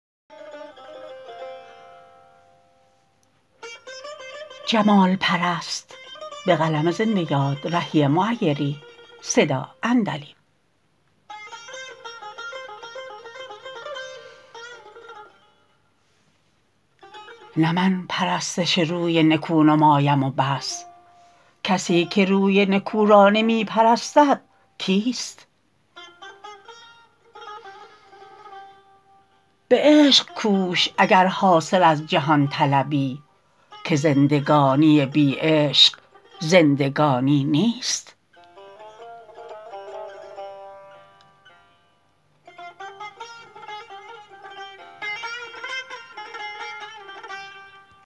نه من پرستش روی نکو نمایم و بس کسی که روی نکو را نمی پرستد کیست به عشق کوش اگر حاصل از جهان طلبی که زندگانی بی عشق زندگانی نیست